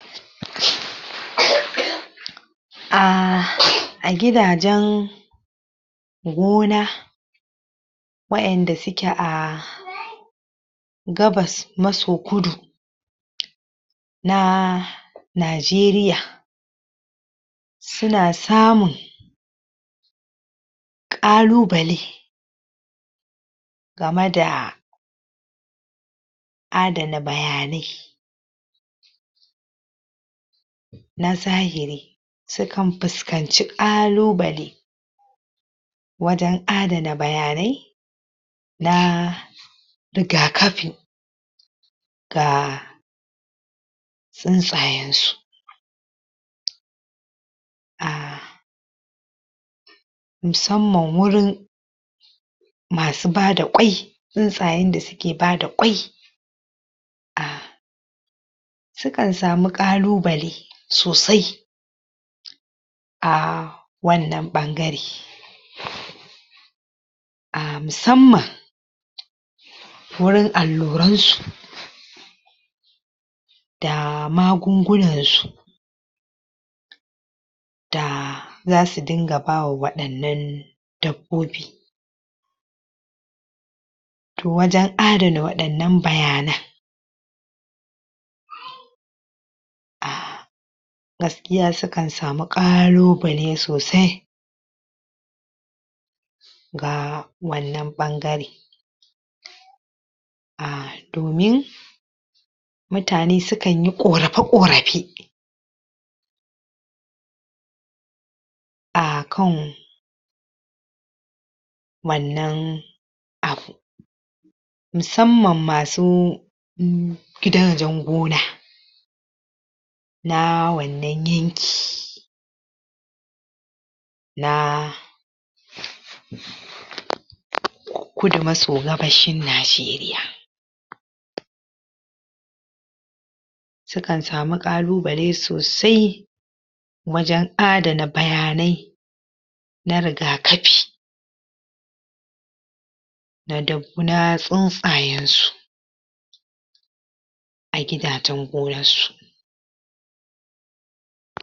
um a gidajen gona waƴanda suke a gabas maso kudu na Najeriya suna samun ƙalubale game da adana bayanai na zahiri, sukan fuskanci ƙalubale wajen adana bayanai na rigakafi ga tsuntsayen su um musamman wurin masu bada ƙwai tsuntsayen da suke bada ƙwai um sukan samu ƙalubale sosai a wannan ɓangare um musamman wurin alluran su da magungunan su da zasu dinga ba wa waɗannan dabbobi to wajen adana waɗannan bayanan um gaskiya sukan samu ƙalubale sosai ga wannan ɓangare um domin mutane sukan yi ƙorafe-ƙorafe a kan wannan abu musamman masu gidajen gona na wannan yanki na kudu maso gabashin Najeriya sukan samu ƙalubale sosai wajen adana bayanai na rigakafi na dab tsuntsayen su a gidajen gonar su.